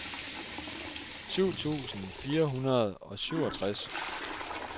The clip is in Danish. syv tusind fire hundrede og syvogtres